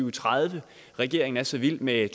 og tredive regeringen er så vild med